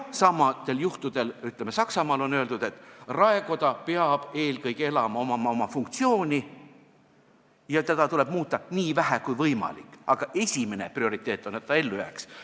Samasugustel juhtudel on Saksamaal öeldud, et raekoda peab eelkõige elama, tal peab olema funktsioon ja teda tuleb muuta nii vähe kui võimalik, aga esimene prioriteet on, et ta ellu jääks.